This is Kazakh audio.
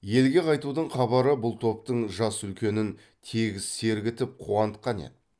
елге қайтудың хабары бұл топтың жас үлкенін тегіс сергітіп қуантқан еді